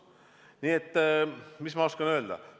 Nii et mis ma oskan öelda?